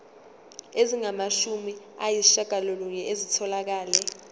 ezingamashumi ayishiyagalolunye zitholakele